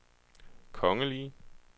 kongelige